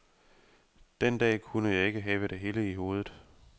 Den dag kunne jeg ikke have det hele i hovedet.